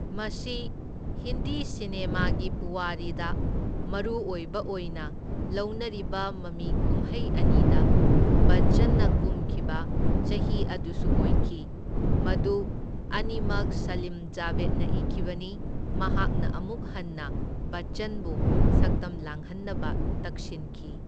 ꯃꯁꯤ ꯍꯤꯟꯗꯤ ꯁꯤꯅꯦꯃꯥꯒꯤ ꯄꯨꯋꯥꯔꯤꯗ ꯃꯔꯨꯑꯣꯏꯕ ꯑꯣꯏꯅ ꯂꯧꯅꯔꯤꯕ ꯃꯃꯤ ꯀꯨꯝꯍꯩ ꯑꯅꯤꯗ ꯕꯆꯆꯟꯅ ꯀꯨꯝꯈꯤꯕ ꯆꯍꯤ ꯑꯗꯨꯁꯨ ꯑꯣꯏꯈꯤ, ꯃꯗꯨ ꯑꯅꯤꯃꯛ ꯁꯂꯤꯝ ꯖꯥꯕꯦꯗꯅ ꯏꯈꯤꯕꯅꯤ, ꯃꯍꯥꯛꯅ ꯑꯃꯨꯛ ꯍꯟꯅ ꯕꯆꯆꯟꯕꯨ ꯁꯛꯇꯝ ꯂꯥꯡꯍꯟꯅꯕ ꯇꯛꯁꯤꯟꯈꯤ꯫